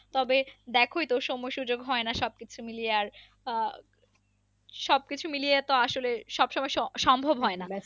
তবে দেখোই তো সময় সুযোগ হয় না সব কিছু মিলিয়ে আর আহ সব কিছু মিলিয়ে তো আসলে সব সময় সম্ভব হয়না